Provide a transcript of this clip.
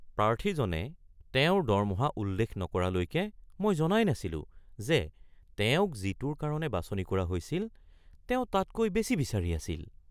প্ৰাৰ্থীজনে তেওঁৰ দৰমহা উল্লেখ নকৰালৈকে মই জনাই নাছিলোঁ যে তেওঁক যিটোৰ কাৰণে বাছনি কৰা হৈছিল তেওঁ তাতকৈ বেছি বিচাৰি আছিল।